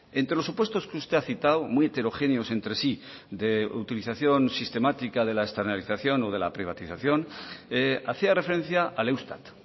entre los supuestos que usted ha citado muy heterogéneos entre sí de utilización sistemática de la externalización o de la privatización hacía referencia al eustat